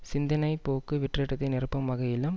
சிந்தனை போக்கு வெற்றிடத்தை நிரப்பும் வகையிலும்